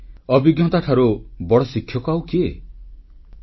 ଆମର ଅଭିଜ୍ଞତାଠାରୁ ବଡ଼ ଶିକ୍ଷକ ଆଉ କିଏ ହେଇପାରେ